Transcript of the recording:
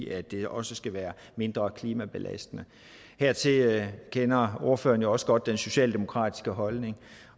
at det også skal være mindre klimabelastende hertil kender ordføreren jo også godt den socialdemokratiske holdning